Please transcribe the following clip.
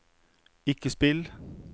ikke spill